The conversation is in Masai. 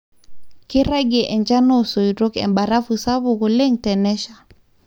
keiragie enchan oosoito e barafu sapuk oleng tenesha